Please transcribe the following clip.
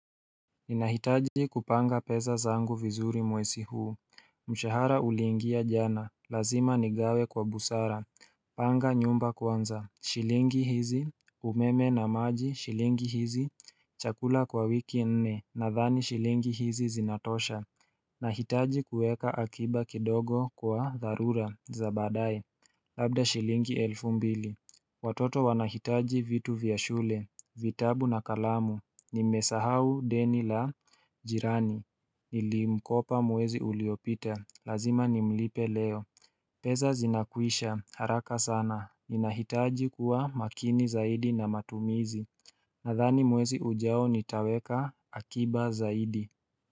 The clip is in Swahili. Ninahitaji kupanga peza zangu vizuri mwesi huu mshahara uliwingia jana, lazima nigawe kwa busara Panga nyumba kwanza shilingi hizi, umeme na maji, shilingi hizi, chakula kwa wiki nne nadhani shilingi hizi zinatosha Nahitaji kueka akiba kidogo kwa dharura, za baadaye Labda shilingi elfu mbili Watoto wanahitaji vitu vya shule vitabu na kalamu Nimesahau deni la jirani Nilimkopa mwezi uliopita, lazima nimlipe leo pesa zinakwisha haraka sana, ninahitaji kuwa makini zaidi na matumizi Nadhani mwezi ujao nitaweka akiba zaidi.